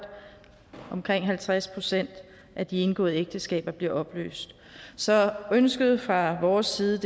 omkring halvtreds procent af de indgåede ægteskaber bliver opløst så ønsket fra vores side